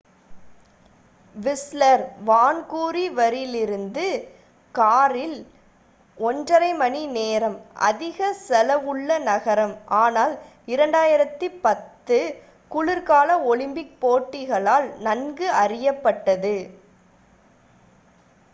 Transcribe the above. Whistler வான்கூவரிலிருந்து காரில் 1.5 மணி நேரம் அதிக செலவுள்ள நகரம் ஆனால் 2010 குளிர்கால ஒலிம்பிக் போட்டிகளால் நன்கு அறியப்பட்டது